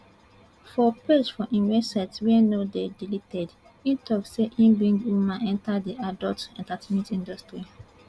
for page for im website wey now dey deleted e tok say e bring women enta di adult entertainment industry